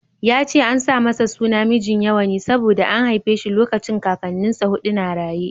Ya ce an sa masa suna Mijinyawa ne saboda an haife shi lokacin Kakannin sa huɗu na raye.